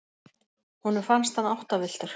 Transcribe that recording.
Honum fannst hann áttavilltur.